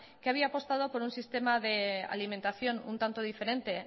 que había apostado por un sistema de alimentación un tanto diferente